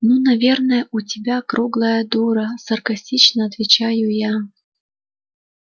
ну наверное у тебя круглая дура саркастично отвечаю я